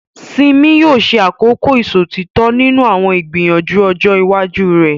Simi yóò ṣe àkọ́kọ́ ìṣòtítọ́ nínú àwọn ìgbìyànjú ọjọ́ iwájú rẹ̀.